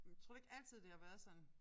Men tror du ikke altid det har været sådan